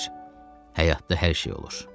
Həyatda hər şey olur.